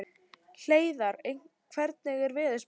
Hleiðar, hvernig er veðurspáin?